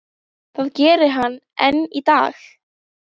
Það gerir hann enn í dag.